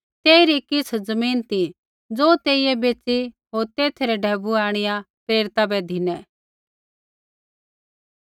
तेइरी किछ़ ज़मीन ती ज़ो तेइयै बेच़ी होर तेथै रै ढैबुऐ आंणिआ प्रेरिता बै धिनै